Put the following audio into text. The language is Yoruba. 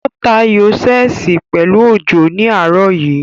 Ó ta ayò ṣẹ́ẹ̀sì pẹ̀lú Òjó ní àárọ̀ yìí